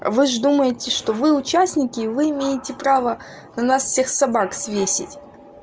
вы ж думаете что вы участники вы имеете право на нас всех собак свесить